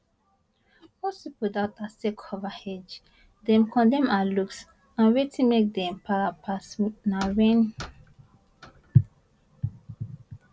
most pipo doubt her sake of her age dem condemn her looks and wetin make dem para pass na wen